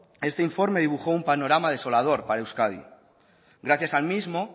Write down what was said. este informe dibujó un panorama desolador para euskadi gracias al mismo